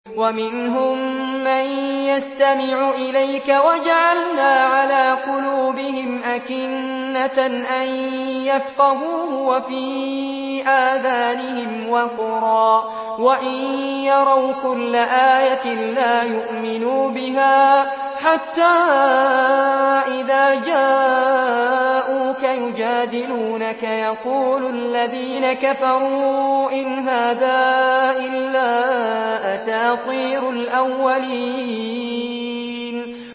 وَمِنْهُم مَّن يَسْتَمِعُ إِلَيْكَ ۖ وَجَعَلْنَا عَلَىٰ قُلُوبِهِمْ أَكِنَّةً أَن يَفْقَهُوهُ وَفِي آذَانِهِمْ وَقْرًا ۚ وَإِن يَرَوْا كُلَّ آيَةٍ لَّا يُؤْمِنُوا بِهَا ۚ حَتَّىٰ إِذَا جَاءُوكَ يُجَادِلُونَكَ يَقُولُ الَّذِينَ كَفَرُوا إِنْ هَٰذَا إِلَّا أَسَاطِيرُ الْأَوَّلِينَ